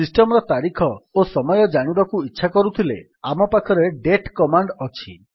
system ର ତାରିଖ ଓ ସମୟ ଜାଣିବାକୁ ଇଚ୍ଛା କରୁଥିଲେ ଆମ ପାଖରେ ଡେଟ୍ କମାଣ୍ଡ୍ ଅଛି